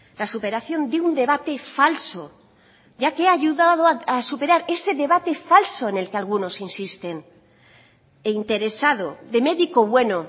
la superación de un debate falso ya que ha ayudado a superar ese debate falso en el que algunos insisten e interesado de médico bueno